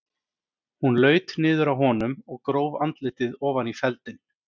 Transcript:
Hún laut niður að honum og gróf andlitið ofan í feldinn.